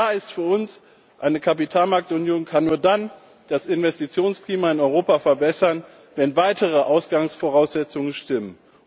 Klar ist für uns Eine Kapitalmarktunion kann nur dann das Investitionsklima in Europa verbessern, wenn weitere Ausgangsvoraussetzungen stimmen.